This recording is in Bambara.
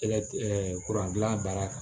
gilan baara kan